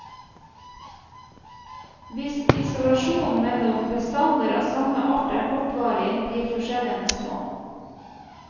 Hvis isolasjonen mellom bestander av samme art er kortvarig, blir forskjellene små.